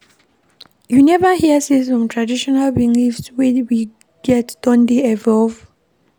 You neva hear sey some traditional beliefs wey we get don dey evolve?